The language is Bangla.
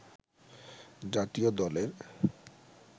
জাতীয় দলের